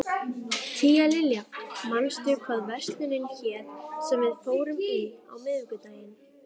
Tíalilja, manstu hvað verslunin hét sem við fórum í á miðvikudaginn?